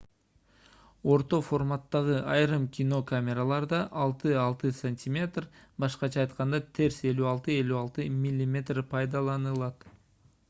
орто форматтагы айрым кино камераларда 6-6 см башкача айтканда терс 56-56 мм пайдаланылат